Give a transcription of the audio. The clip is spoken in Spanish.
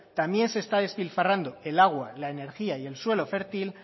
también se está despilfarrando el agua la energía y el suelo fértil